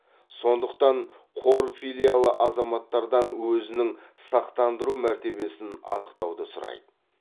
сондықтан қор филиалы азаматтардан өзінің сақтандыру мәртебесін анықтауды сұрайды